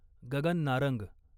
Gagan Narang